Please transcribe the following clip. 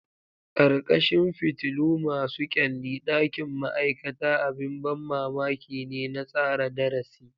Ƙarƙashin fitilu masu kyalli, ɗakin ma'aikata abin ban mamaki ne na tsara darasi.